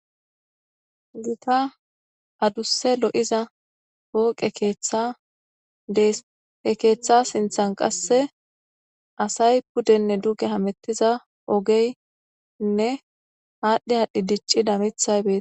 Gita adusse lo'iza pooqe Keetha dees. He Keeththa sinthani qasse asay pudenne duge hamutiza ogeyne aadhi aadhi diccida miththay beetees